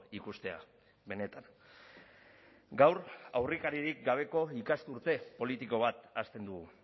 ikustea benetan gaur aurrekaririk gabeko ikasturte politiko bat hasten dugu